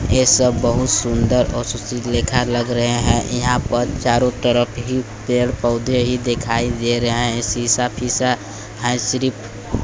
ये सब बहुत सुंदर और सुशील लेखा लग रहे हैं यहां पर चारों तरफ ही पेड़ पौधे ही दिखाई दे रहे हैं शीशा फीसा है सिर्फ।